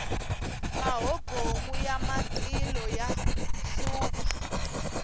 mahobomu ya matilo ya hlupha